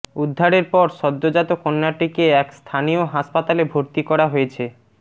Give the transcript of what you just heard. উদ্ধারের পর সদ্যজাত কন্যাটিকে এক স্থানীয় হাসপাতালে ভর্তি করা হয়েছে